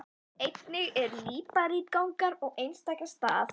Einnig eru líparítgangar á einstaka stað.